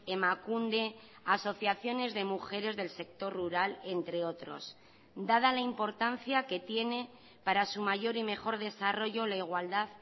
emakunde asociaciones de mujeres del sector rural entre otros dada la importancia que tiene para su mayor y mejor desarrollo la igualdad